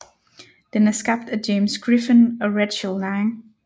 Den er skabt af James Griffin og Rachel lang